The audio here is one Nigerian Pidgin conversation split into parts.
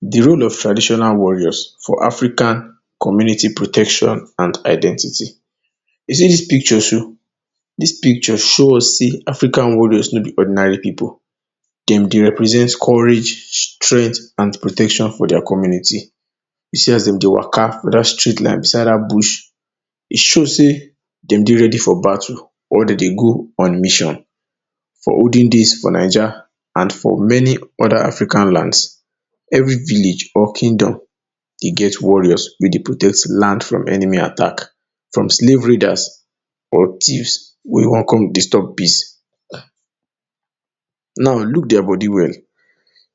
De role of traditional warriors for African community protection and identity. You see dis picture show, dis picture show us sey African warriors no be ordinary pipu. Dem dey represent courage, strength and protection for dia community. You see as dem dey wa?ka? for dat street like, beside dat bush. E show sey dem dey ready for battle or dem dey go on mission. For olden days for Naija, and for many other African lands, every village or kingdom dey get warriors wey dey protect land from enemy attack, from slave raiders or thieves wey wan come disturb peace. Now look dia body well,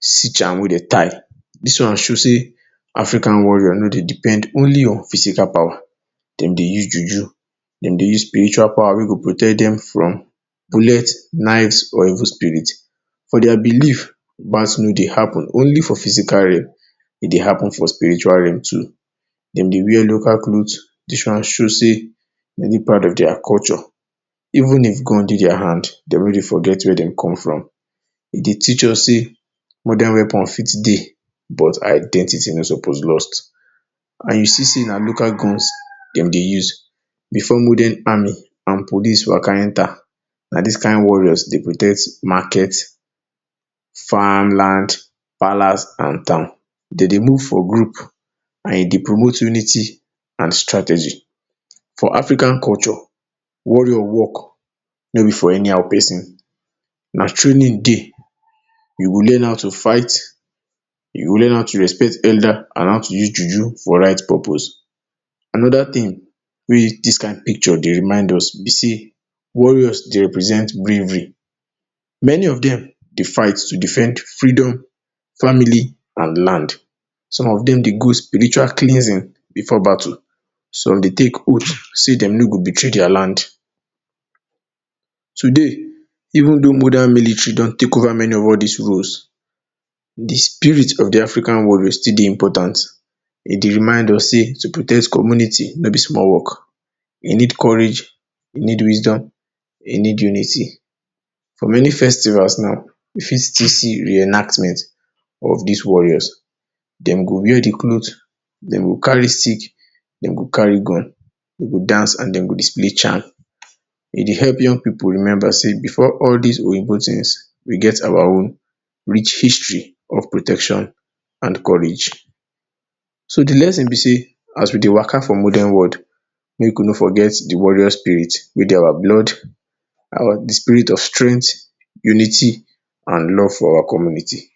see charm wey dem tie. Dis one show sey African warrior no dey depend only on physical power. Dem dey use juju. Dem dey use spiritual power wey go protect dem from bullet, knives or evil spirit. For dia belief, gbas no dey happen only for physical realm, e dey happen for spiritual realm too. Dem dey wear local cloth. Dis one show sey dem dey proud of dia culture. Even if gun dey dia hand, dem no forget where dem come from. E dey teach us sey modern weapon fit dey, but identity no suppose lost. And you see sey na local guns dem dey use, before modern army and police wa?ka? enter, na dis kain warriors dey protect market, farmland, palace and town. Dem dey move for group and e dey promote unity and strategy. For African culture, warrior work no be for anyhow pesin. Na training dey. You go learn how to fight, you go learn how to respect elda? and how to use juju for right purpose. Another tin wey dis kain picture dey remind us be sey warriors dey represent bravery. Many of dem dey fight to defend freedom, family and land. Some of dem dey go spiritual cleansing before battle. Some dey take oath say dem no go betray dia land. Today, even though modern military don take over many of dis roles, de spirit of de African warrior still dey important. E dey remind us sey to protect community no be small work. E need courage, e need wisdom, e need unity. For many festivals now, you fit still see many reenactments of dis warriors. Dem go wear de cloth, dem go carry stick, dem go carry gun, dem go dance and dem go display charm. E dey epp yound pipu remember sey before all dis oyinbo tins, we get our own rich history of protection and courage. So, de lesson be sey, as we dey wa?ka? for modern world, make we no forget de warrior spirit wey dey our blood, our, de spirit of strength, unity and love for our community.